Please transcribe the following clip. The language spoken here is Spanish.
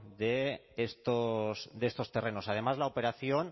de estos terrenos además la operación